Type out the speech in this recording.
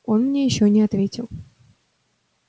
он мне ещё не ответил